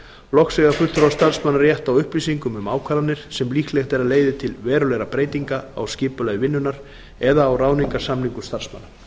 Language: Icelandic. loks eiga fulltrúar starfsmanna rétt á upplýsingum um ákvarðanir sem líklegt er að leiði til verulegra breytinga á skipulagi vinnunnar eða á ráðningarsamningum starfsmanna